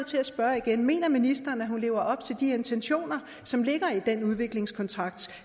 til at spørge igen mener ministeren at hun lever op til de intentioner som ligger i den udviklingskontrakt